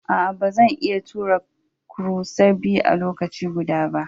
Aa, ba zan iya tura karusai biyu a lokaci guda ba.